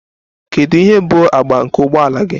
Kedu ihe bụ agba nke ụgbọ ala gị?